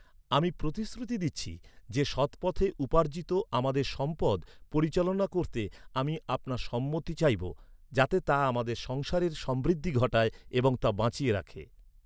আমি প্রতিশ্রুতি দিচ্ছি যে সৎপথে উপার্জিত আমাদের সম্পদ পরিচালনা করতে আমি আপনার সম্মতি চাইবো, যাতে তা আমাদের সংসারের সমৃদ্ধি ঘটায় এবং তা বাঁচিয়ে রাখে।